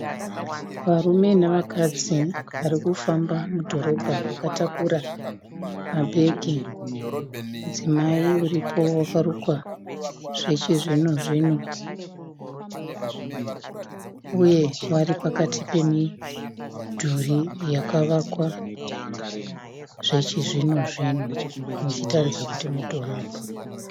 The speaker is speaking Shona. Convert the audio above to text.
Varume navakadzi vari kufamba mudhorobha vakatakura mabhegi. Mudzimai uripo wakarukwa zvechizvino zvino uye vari pakati pemidhuri yakavakwa zvechizvino zvino muchitaridza kuti mudhorobha.